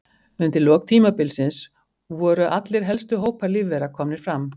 Undir lok tímabilsins voru allir helstu hópar lífvera komnir fram.